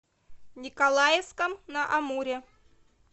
николаевском на амуре